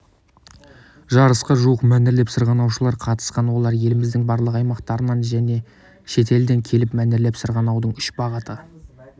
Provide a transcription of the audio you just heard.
жарысқа жуық мәнерлеп сырғанаушылар қатысқан олар еліміздің барлық аймақтарынан және шетелдерден келіп мәнерлеп сырғанаудың үш бағыты